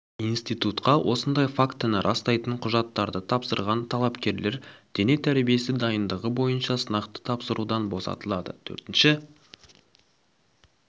институтқа осындай фактіні растайтын құжаттарды тапсырған талапкерлер дене тәрбиесі дайындығы бойынша сынақты тапсырудан босатылады төртінші